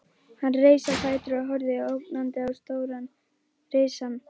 Hann reis á fætur og horfði ógnandi á stóran risann.